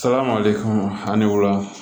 Saga mali kɔnɔ a ni wula